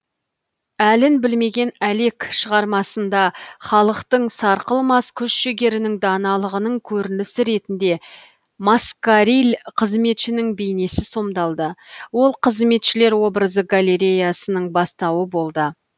әлін білмеген әлек шығармасында халықтың сарқылмас күш жігерінің даналығының көрінісі ретінде маскариль қызметшінің бейнесі сомдалды ол қызметшілер образы галереясының бастауы болды